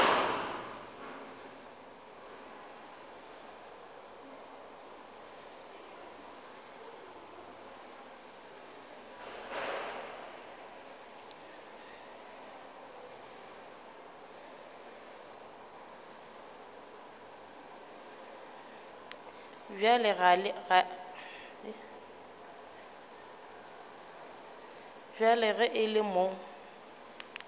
bjale ge e le mo